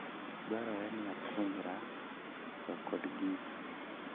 Dwarore ni apuonjra tiyo kod gigo.